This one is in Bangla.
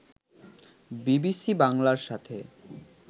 বিবিসি বাংলার সাথে